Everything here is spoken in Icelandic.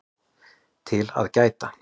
TIL AÐ GÆTA